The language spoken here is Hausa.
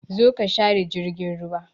Zo ka share jirgin ruwa!